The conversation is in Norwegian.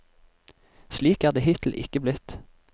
Slik er det hittil ikke blitt.